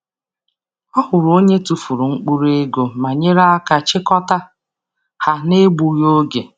Ọ hụrụ onye tụfuru mkpụrụ ego ma nyere aka chịkọta ha n’egbughị oge.